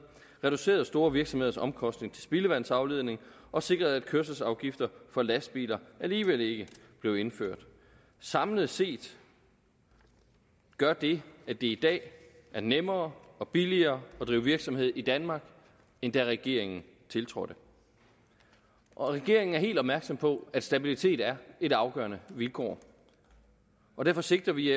reduceret store virksomheders omkostninger til spildevandsafledning og sikret at kørselsafgifter for lastbiler alligevel ikke blev indført samlet set gør det at det i dag er nemmere og billigere at drive virksomhed i danmark end da regeringen tiltrådte regeringen er helt opmærksom på at stabilitet er et afgørende vilkår og derfor sigter vi